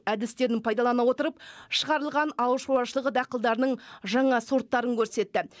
әдістерін пайдалана отырып шығарылған ауыл шаруашылығы дақылдарының жаңа сорттарын көрсетті